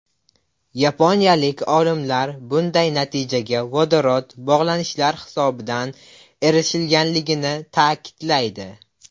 Yaponiyalik olimlar bunday natijaga vodorod bog‘lanishlar hisobidan erishilganligini ta’kidlaydi.